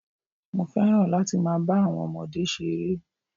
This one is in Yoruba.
Mo fẹ́ràn láti máa ba àwon ọmọdé se ere